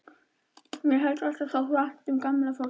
Mér hefur alltaf þótt vænt um gamalt fólk.